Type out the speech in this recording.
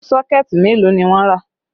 Sọ́kẹ̀ẹ̀tì mélòó ni wọ́n rà?